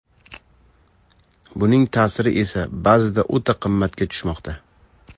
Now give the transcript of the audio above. Buning ta’siri esa ba’zida o‘ta qimmatga tushmoqda.